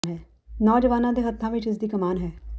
ਨੌਜਵਾਨਾਂ ਦੇ ਹੱਥਾਂ ਵਿਚ ਹੀ ਇਸ ਦੀ ਕਮਾਨ ਹੈ